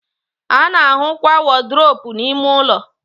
a na-ahụkwa wọdrobụ n'ime ụlọ.